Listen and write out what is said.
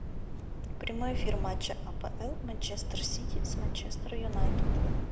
прямой эфир матча апл манчестер сити с манчестер юнайтед